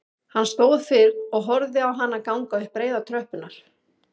Hann stóð kyrr og horfði á hana ganga upp breiðar tröppurnar